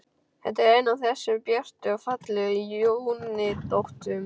Þetta er ein af þessum björtu og fallegu júnínóttum.